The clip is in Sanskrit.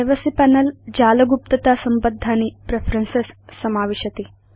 प्राइवेसी पनेल जाल गुप्तता संबद्धानि प्रेफरेन्सेस् समाविशति